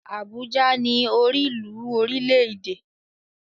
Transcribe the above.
Abuja ni orílùú orílẹ́-èdè.